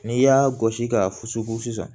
N'i y'a gosi k'a fusu fo sisan